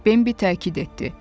Bambi təkid etdi.